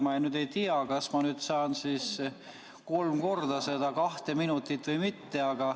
Ma nüüd ei tea, kas ma saan siis kolm korda seda kahte minutit või mitte.